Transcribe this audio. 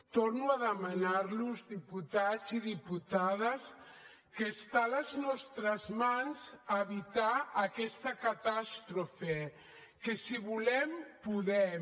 torno a demanar los diputats i diputades que està a les nostres mans evitar aquesta catàstrofe que si volem podem